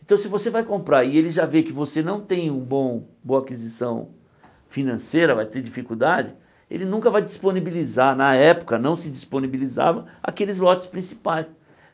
Então se você vai comprar e ele já vê que você não tem um bom boa aquisição financeira, vai ter dificuldade, ele nunca vai disponibilizar, na época não se disponibilizava, aqueles lotes principais.